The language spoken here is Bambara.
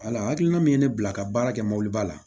Ala hakilina min ye ne bila ka baara kɛ mobiliba la